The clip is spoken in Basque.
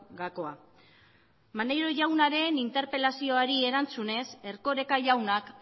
gakoa maneiro jaunaren interpelazioari erantzunez erkoreka jaunak